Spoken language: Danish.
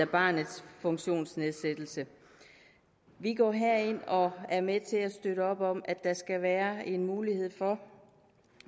barnets funktionsnedsættelse vi går her ind og er med til at støtte op om at der skal være en mulighed for